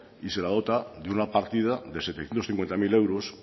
y se la dota de una partida de setecientos cincuenta mil euros